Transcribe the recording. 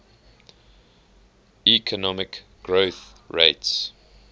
economic growth rates